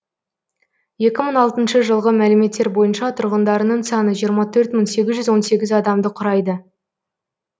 екі мың алтыншы жылғы мәліметтер бойынша тұрғындарының саны жиырма төрт мың сегіз жүз сегіз адамды құрайды